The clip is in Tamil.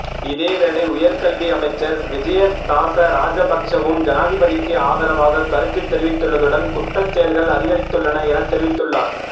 இதேவேளை உயர்கல்வியமைச்சர் விஜயதாச ராஜபக்சவும் ஜனாதிபதிக்கு ஆதரவாக கருத்து தெரிவித்துள்ளதுடன் குற்றச்செயல்கள் அதிகரித்துள்ளன என தெரிவித்துள்ளார்